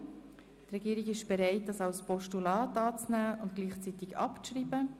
Die Regierung ist bereit, den Vorstoss als Postulat anzunehmen und gleichzeitig abzuschreiben.